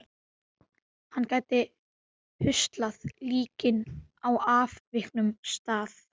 Hann gæti huslað líkin á afviknum stað.